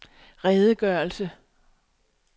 redegørelse